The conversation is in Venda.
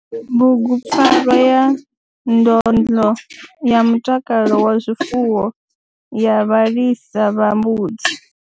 Bugu PFARWA YA NDONDLO YA MUTAKALO WA ZWIFUWO YA VHALISA VHA MBUDZI.